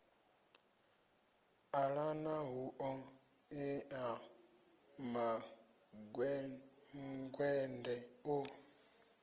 ṱalana hu ṱoḓea mangwende o